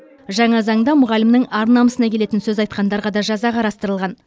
жаңа заңда мұғалімнің ар намысына келетін сөз айтқандарға да жаза қарастырылған